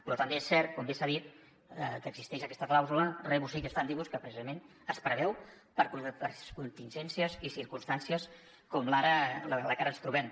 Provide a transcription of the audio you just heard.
però també és cert com bé s’ha dit que existeix aquesta clàusula rebus sic stantibus que precisament es preveu per contingències i circumstàncies com en la que ara ens trobem